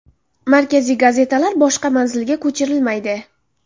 Markaziy gazetalar boshqa manzilga ko‘chirilmaydi.